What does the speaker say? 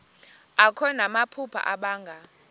akho namaphupha abanga